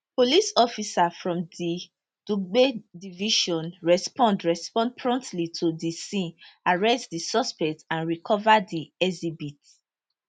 police officers from di dugbe division respond respond promptly to di scene arrest di suspect and recova di exhibit